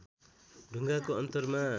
ढुङ्गाको अन्तरमा